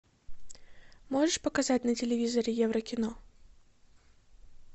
можешь показать на телевизоре еврокино